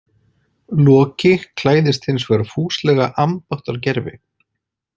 Loki klæðist hins vegar fúslega ambáttargervi.